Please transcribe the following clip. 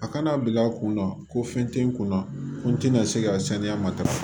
A kana bila kunna ko fɛn tɛ n kun na n tɛna se ka saniya matarafa